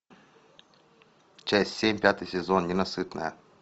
часть семь пятый сезон ненасытная